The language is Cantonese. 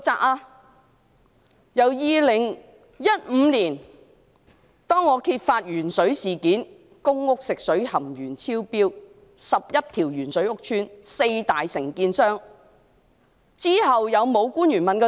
我在2015年揭發鉛水事件，即是公屋食水含鉛量超標，當中涉及11個屋邨和四大承建商，之後是否有官員問責？